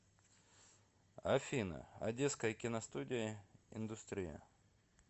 афина одесская киностудия индустрия